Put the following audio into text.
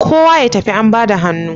Kowa ya tafi an bada hannu